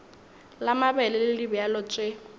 la mabele le dibjalo tše